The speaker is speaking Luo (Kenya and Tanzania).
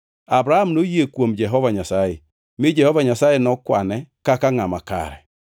Abram noyie kuom Jehova Nyasaye, mi Jehova Nyasaye nokwane kaka ngʼama kare.